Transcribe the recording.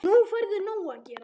Nú færðu nóg að gera